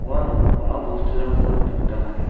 uano bang·a bosturangko nikna gita man·enga.